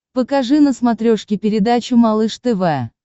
покажи на смотрешке передачу малыш тв